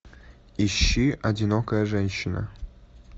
ищи одинокая женщина